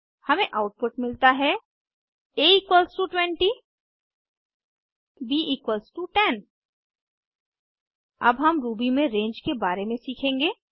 हमें आउटपुट मिलता है a20 b10 अब हम रूबी में रंगे के बारे में सीखेंगे